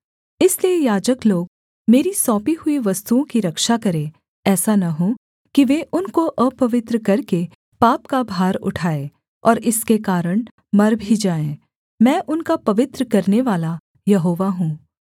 इसलिए याजक लोग मेरी सौंपी हुई वस्तुओं की रक्षा करें ऐसा न हो कि वे उनको अपवित्र करके पाप का भार उठाए और इसके कारण मर भी जाएँ मैं उनका पवित्र करनेवाला यहोवा हूँ